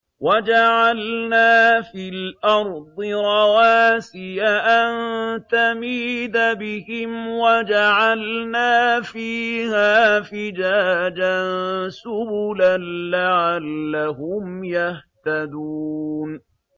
وَجَعَلْنَا فِي الْأَرْضِ رَوَاسِيَ أَن تَمِيدَ بِهِمْ وَجَعَلْنَا فِيهَا فِجَاجًا سُبُلًا لَّعَلَّهُمْ يَهْتَدُونَ